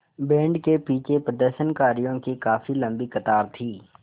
band के पीछे प्रदर्शनकारियों की काफ़ी लम्बी कतार थी